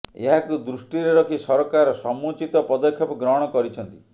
ଏହାକୁ ଦୁଷ୍ଟିରେ ରଖି ସରକାର ସମୁଚ୍ଚିତ ପଦକ୍ଷେପ ଗ୍ରହଣ କରିଛନ୍ତି